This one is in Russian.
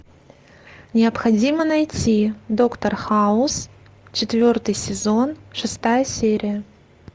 необходимо найти доктор хаус четвертый сезон шестая серия